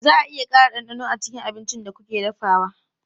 Za a iya ƙara ɗanɗano a cikin abincin da kuke dafawa?